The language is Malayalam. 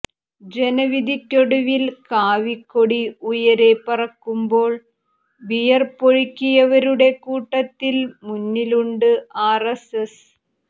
ജനവിധിക്കൊടുവിൽ കാവിക്കൊടി ഉയരെ പറക്കുമ്പോൾ വിയർപ്പൊഴുക്കിയവരുടെ കൂട്ടത്തിൽ മുന്നിലുണ്ട് ആർഎസ്എസ്